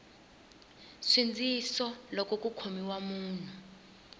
nsindziso loko ku khomiwa munhu